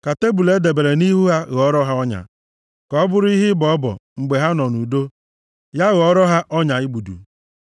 Ka tebul e debere nʼihu ha ghọrọ ha ọnya; ka ọ bụrụ ha ihe ịbọ ọbọ mgbe ha nọ nʼudo ya ghọrọ ha ọnya igbudu.